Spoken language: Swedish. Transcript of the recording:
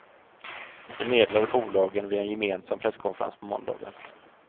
Det meddelade bolagen vid en gemensam presskonferens på måndagen.